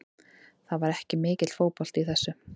Það var ekki mikill fótbolti í þessu.